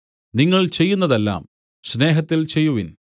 നിങ്ങൾ ചെയ്യുന്നതെല്ലാം സ്നേഹത്തിൽ ചെയ്യുവിൻ